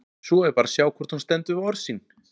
Svo er bara að sjá hvort hún stendur við orð sín!